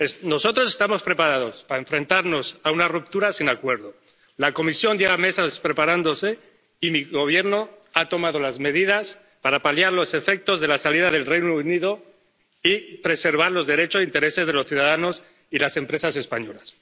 Nosotros estamos preparados para enfrentarnos a una ruptura sin acuerdo. La Comisión lleva meses preparándose y mi Gobierno ha tomado medidas para paliar los efectos de la salida del Reino Unido y preservar los derechos e intereses de los ciudadanos y las empresas españolas.